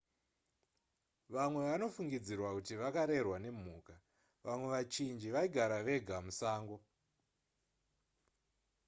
vamwe vanofungidzirwa kuti vakarerwa nemhuka vamwe vachinji vaigara vega musango